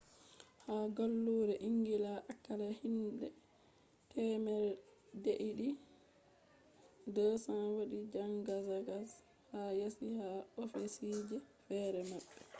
ha gallure engila akalla hinbe temere deidi 200 wadi zangazangz ha yasi ha ofisije fere mabbe